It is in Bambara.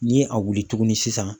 Ni a wuli tuguni sisan